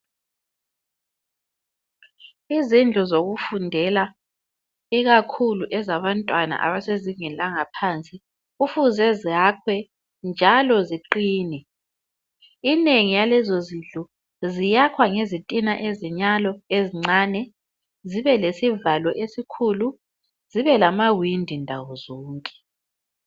Izindlu zokufundela ikakhulu ezabantwana abasezingeni langaphansi kufuze zakhwe njalo ziqine. Inengi yalezozindlu ziyakhwa ngezitina ezinyalo ezincane zibe lesivalo esikhulu, zibe lamawindi ndawozonke.